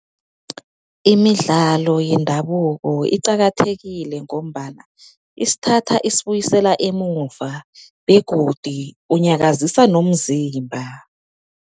Imidlalo yendabuko iqakathekile, ngombana isithatha isibuyisela emuva begodi unyakazisa nomzimba.